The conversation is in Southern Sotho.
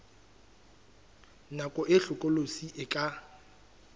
nako e hlokolosi e ka